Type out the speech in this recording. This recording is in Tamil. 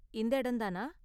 இந்த இடம் தானா?